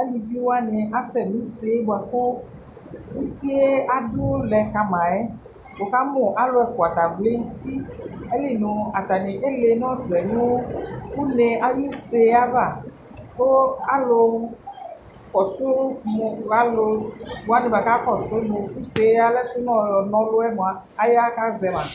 alɩviwanɩ asɛ nʋ ʋsee bʋakʋ ʋtɩe adu lɛ kama yɛ wʋkamʋ alʋ ɛfʋa ta vlɛ nʋ ʋti ayilɩ nʋ atanɩ ele nɔsɛ nʋ ʋne ayʋ ʋsee ava kʋ alʋ kɔsʋ mʋ alʋwani bʋa akɔsʋ nʋ ʋse alɛsʋ nɔ yɔ nɔlʋ mʋa aya kazɛma